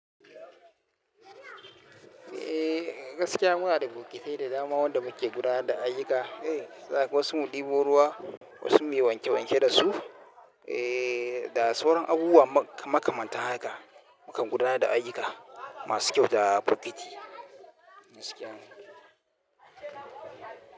Eh gaskiya muna da bokitai da dama wanda muke gudana da ayyuka, eh zakaga wasu mu dibo ruwa wasu muyi wanke wanke dasu, eh da sauran abubuwa makamantan haka mu kam gudana da ayuka masu kyauta bokiti gaskiya ne.